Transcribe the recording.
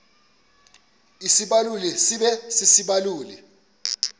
isibaluli sibe sisibaluli